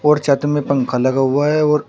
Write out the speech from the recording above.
और छत में पंखा लगा हुआ है और--